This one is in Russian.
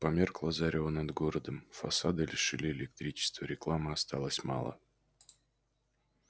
померкло зарево над городом фасады лишили электричества рекламы осталось мало